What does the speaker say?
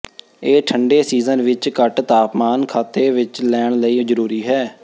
ਇਹ ਠੰਡੇ ਸੀਜ਼ਨ ਵਿੱਚ ਘੱਟ ਤਾਪਮਾਨ ਖਾਤੇ ਵਿੱਚ ਲੈਣ ਲਈ ਜ਼ਰੂਰੀ ਹੈ